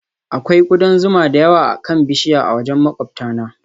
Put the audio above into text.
Akwai kudan zuma da yawa akan bishiyar a wajen maƙwabtana